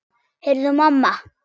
Heyrðu mamma!